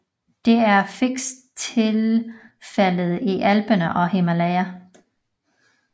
Dette er fx tilfældet i Alperne og Himalaya